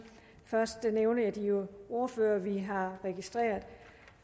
først nævner jeg de ordførere vi har registreret